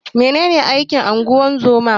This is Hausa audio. Menene aikin ungozoma?